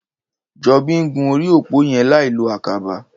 Jobi n gún óri ópó yèn lái ló àkàbà